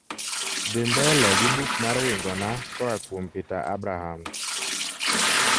dhi mbele gi buk mar wingona koa kuom peter abrahams